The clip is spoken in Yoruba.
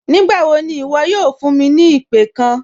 Nígbàwọ́ ní iwo̩ yóò fún mi ni ìpẹ̀ kán?